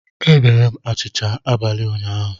Emere m achịcha abalị ụnyaahụ